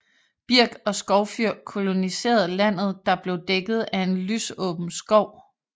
Birk og skovfyr koloniserede landet der blev dækket af en lysåben skov